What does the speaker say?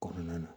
Kɔnɔna na